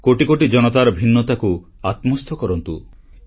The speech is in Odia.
କୋଟିକୋଟି ଜନତାର ଭିନ୍ନତାକୁ ଆତ୍ମସ୍ଥ କରନ୍ତୁ